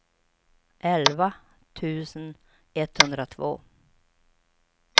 elva tusen etthundratvå